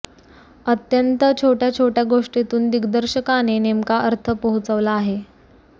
अत्यंत छोट्या छोट्या गोष्टींतून दिग्दर्शकाने नेमका अर्थ पोहोचवला आहे